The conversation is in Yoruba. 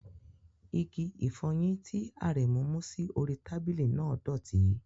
Ìgì-ìfọ́yin ti Aremu mu si ori tabili náà dọ̀tí.